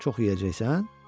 Çox yeyəcəksən?